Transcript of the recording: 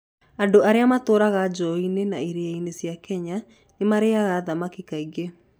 Andũ arĩa matũũraga njũũĩ-inĩ na iria-inĩ cia Kenya nĩ marĩĩaga thamaki kaingĩ.